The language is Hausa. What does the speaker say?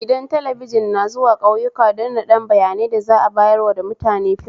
Gidan talabijin na zawu ƙauyaku don naɗan bayanai da za'a bayanarwa da mutane fim